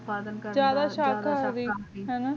ਸਾਰਾ